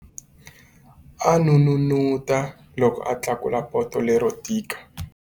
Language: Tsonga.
A n'unun'uta loko a tlakula poto lero tika.